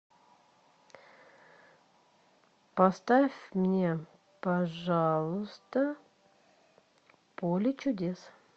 поставь мне пожалуйста поле чудес